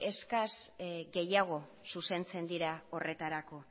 eskas gehiago zuzentzen dira horretarako